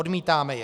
Odmítáme je.